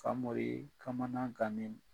Famori kamanan gannen